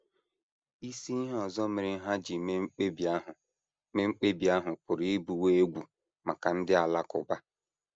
Isi ihe ọzọ mere ha ji mee mkpebi ahụ mee mkpebi ahụ pụrụ ịbụwo egwu maka ndị Alakụba.